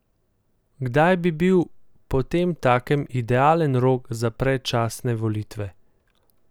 Kdaj bi bil potemtakem idealen rok za predčasne volitve?